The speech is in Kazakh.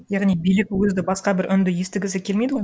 яғни билік өзі де басқа бір үнді естігісі келмейді ғой